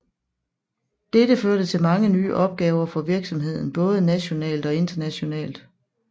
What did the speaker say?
Dette førte til mange nye opgaver for virksomheden både nationalt og internationalt